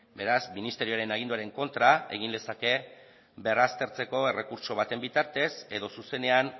beraz ministerioaren kontra egin lezake berraztertzeko errekurtso baten bitartez edo zuzenean